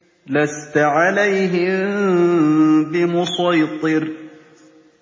لَّسْتَ عَلَيْهِم بِمُصَيْطِرٍ